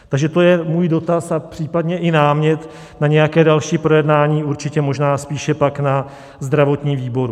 Takže to je můj dotaz a případně i námět na nějaké další projednání, určitě možná spíše pak na zdravotním výboru.